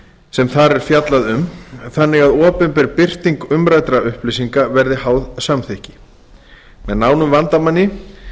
sem þar er fjallað um þannig að opinber birting umræddra upplýsinga verði háð samþykki með nánum vandamanni